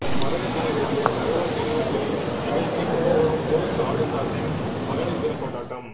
மகளிர்தின விழாவில் தகவல் நினைவஞ்சலி நிகழ்ச்சி கும்பகோணம் ஜோஸ் ஆலுக்காஸின் மகளிர் தின கொண்டாட்டம்